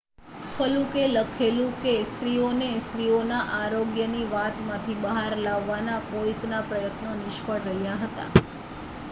ફલુકે લખેલું કે સ્ત્રીઓને સ્ત્રીઓના આરોગ્યની વાત માંથી બહાર લાવવાના કોઇકના પ્રયત્નો નિષ્ફળ રહ્યા હતા